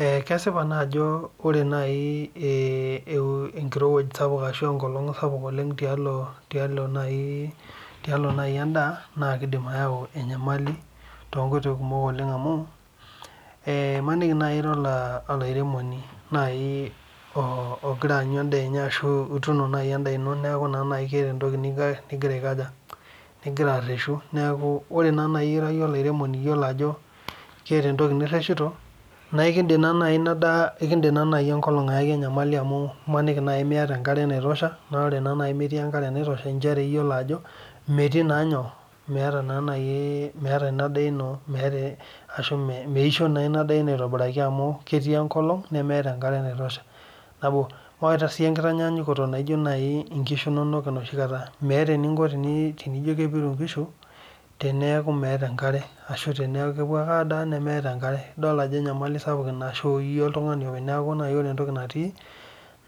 Kesipa naa ajo ore naaji enkirowuaj sapuk, ashu enkolong' sapuk tiatua naaji, tialo naaji edaa. naa kidim ayau enyamali too nkoitoi kuumok oleng amu, imaniki naaji ira olairemoni, naai oogira any edaa. enye ashu ituuno naaji edaa ino neeku keeta entoki nigira areshu neeku, ore naa naji ira iyie olairemoni iyiolo ajo keeta entoki niresshito naa ekeidim naa naji Ina daa, ekid enkolong' ayaki enyamali amu imaniki Miata enkare naitosha. naa ore naa metii enkare iyiolo ajo, metii naa nyoo. meeta Ina daa ino, ashu meisho naa Ina daino keee enkolong' nemeeta enkare naitoshea. mawaita sii tenkitanyaanyukoto inkishu nonok inoshi kata. meeta eninko tenijo kepiru nkishu tenijo meeta enkare ashu teneeku kepuo ake aasa. nemeeta enkare. idol ajo enyamali sapuk Ina mishukoki iyie oltungani openy. neeku ore entoki natii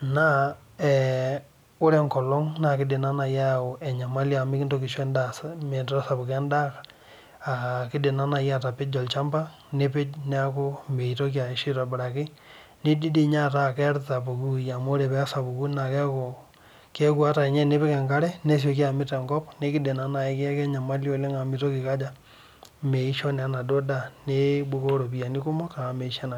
naa ee ore enkolong' naa kidim ayau enyamali amu mikintoki aisho edaa metasapuka edaa. kidim naa naji atapejo. olchampa. neeeku mitoki aisho aitobir. nidim ataa keerita pooki wueji amu ore pee esapuku naa keeku ata tenipik ankarw